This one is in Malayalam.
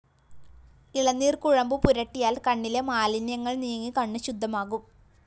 ഇളനീര്‍ കുഴമ്പ് പുരട്ടിയാല്‍ കണ്ണിലെ മാലിന്യങ്ങള്‍ നീങ്ങി കണ്ണ് ശുദ്ധമാകും